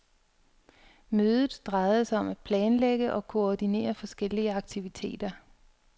Mødet drejede sig om at planlægge og koordinere forskellige aktiviteter.